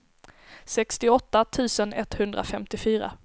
sextioåtta tusen etthundrafemtiofyra